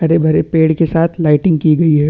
हरे-भरे पेड़ के साथ लाइटिंग की गई है।